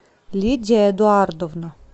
лидия эдуардовна